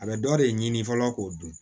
A bɛ dɔ de ɲini fɔlɔ k'o dun